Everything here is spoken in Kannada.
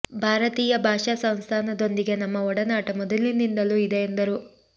ಭಾರ ತೀಯ ಭಾಷಾ ಸಂಸ್ಥಾನದೊಂದಿಗೆ ನಮ್ಮ ಒಡನಾಟ ಮೊದಲಿನಿಂದಲೂ ಇದೆ ಎಂದರು